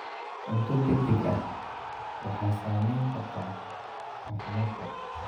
Cunto degdeg ah waxay saameyn kartaa caafimaadka.